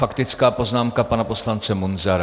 Faktická poznámka pana poslance Munzara.